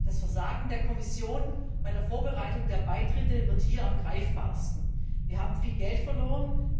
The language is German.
Das Versagen der Kommission bei der Vorbereitung der Beitritte wird hier am greifbarsten. Wir haben viel Geld verloren.